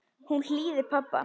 Hún hlýðir pabba.